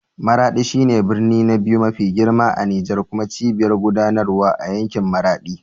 Maraɗi shi ne birni na biyu mafi girma a Nijar kuma cibiyar gudanarwa a yankin Maradi.